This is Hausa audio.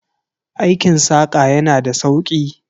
Aikin saƙa yana da sauki.